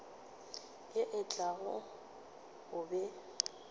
ye e tlago o be